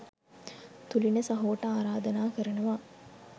තුලින සහෝට ආරධනා කරනවා.